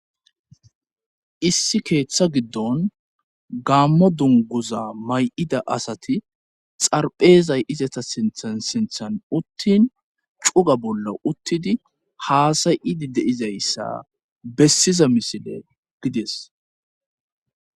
Issi keththa giddon gammo dunguza may'ida asati xarephphezay izetta siinththan siinththan utin cugga bolla uttdi hass'aidi de'izayssa bessiza misille gidees